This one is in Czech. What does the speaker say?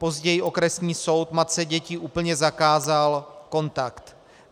Později okresní soud matce dětí úplně zakázal kontakt.